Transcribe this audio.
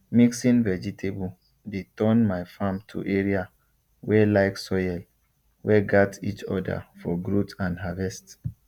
mixing vegetable dey turn my farm to area wey like soil wey gat each other for growth and harvest